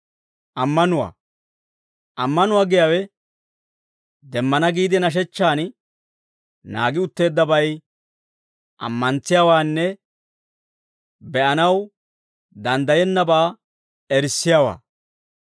Ammanuwaa giyaawe, demmana giide nashechchaan naagi utteeddabay ammantsiyaawaanne be'anaw danddayennabaa erissiyaawaa.